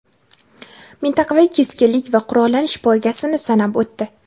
mintaqaviy keskinlik va qurollanish poygasini sanab o‘tdi.